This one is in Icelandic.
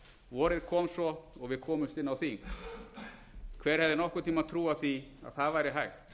vorið kom svo og við komumst inn á þing hver hefði nokkurn tíma trúað því að það væri hægt